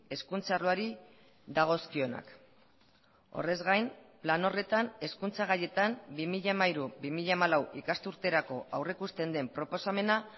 hezkuntza arloari dagozkionak horrez gain plan horretan hezkuntza gaietan bi mila hamairu bi mila hamalau ikasturterako aurrikusten den proposamena